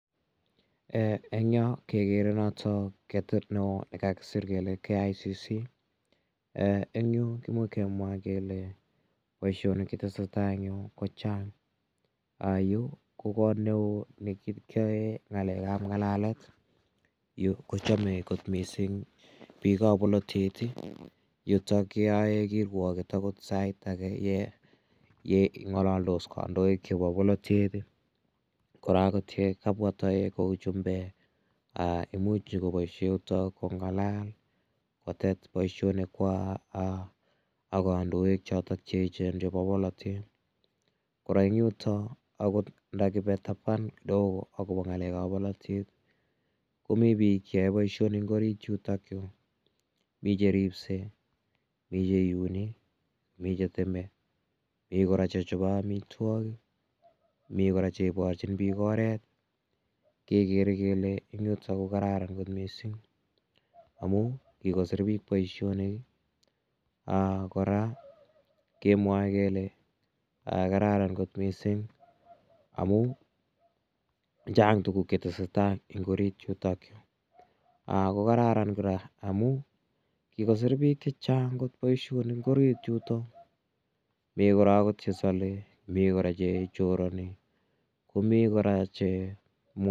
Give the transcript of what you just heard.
Eng' yo kekere notok keteet ne oo ne kakisir kele KICC. Eng' yu kimuch kemwa kele poishonik chetese tai en yu ko chang'. Yu ko kot ne oo ne kiyae ng'alek ap ng'alalet. Yu ko chame kot missing' piik ap polotet. Yutok ye yae kirwaget agot sait age ye ng'alaldos kandoik chepo polotet. Kora ko te kapwa taek kou chumbek ko imuch nyu ko paishe yutok kong'alal kotet poishonikwak ak kandoik chotok che echen chepo poletet. Kora eng' yutok akot ndakipe tapan kidogo akopa ng'alek ap polotet ko mi pik che yae poishonik en orit yutok. Mi che ripsei, mi che iuni, mi che teme, mi kora che chope amitwogik, mi kpra che iparchin piik oret kekere kole eng' yutol ko kararan missing' amu kikosir piik poishonik kora kemwae kele kararan kot missing' amun chang' tuguk che tese tai eng' orit yutok. Ko kararan kora amun kikosir piik che chang' kot poishonik en orit yutok. Mi kora agot che sale, mi kora che chorani, komi kora che ...